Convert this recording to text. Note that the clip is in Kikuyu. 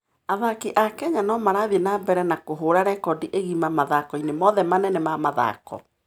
Athaki a Kenya no marathiĩ na mbere na kũhũũra rekondi igima mathako-inĩ mothe manene ma mathako.